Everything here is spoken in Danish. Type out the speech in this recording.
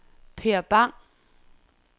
Per Bang